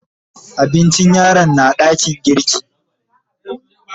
Abincin yaron na dakin girki.